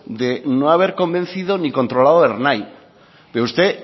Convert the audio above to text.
de no haber convencido ni controlado ernai pero usted